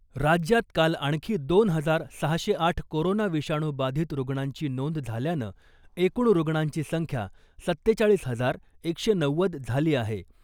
राज्यात काल आणखी दोन हजार सहाशे आठ कोरोना विषाणू बाधित रुग्णांची नोंद झाल्यानं एकूण रुग्णांची संख्या सत्तेचाळीस हजार एकशे नव्वद झाली आहे .